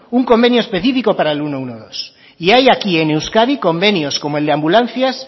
un convenio específico para el ciento doce y hay aquí en euskadi convenios como el de ambulancias